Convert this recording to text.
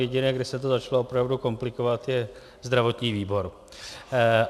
Jediné, kde se to začalo opravdu komplikovat, je zdravotní výbor.